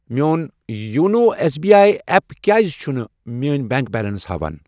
میون YONO S B I app کیٛازِ چُھنہٕ میٲنۍ بینک بیلینس ہاوان؟